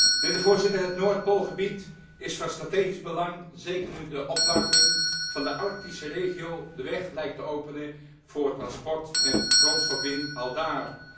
Mijnheer de Voorzitter, het Noordpoolgebied is van strategisch belang zeker nu de opwarming van de Arctische regio de weg lijkt te openen voor transport en grondstofwinning aldaar.